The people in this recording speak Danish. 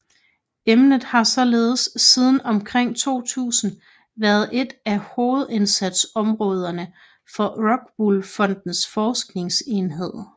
Emnet har således siden omkring 2000 været et af hovedindsatsområderne for Rockwool Fondens Forskningsenhed